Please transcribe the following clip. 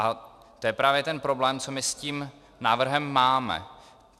A to je právě ten problém, co my s tím návrhem máme.